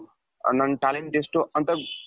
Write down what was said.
ನನ್ನಾ talent ಎಷ್ಟು ಅಂತ,